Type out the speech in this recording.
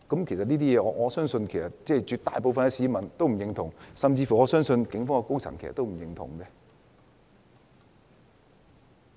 其實我相信絕大部分市民都不會認同這些行為，我相信警方高層亦不會認同。